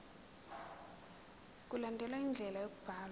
mkulandelwe indlela yokubhalwa